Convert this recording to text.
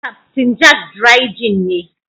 Captain Jack dry gin ne.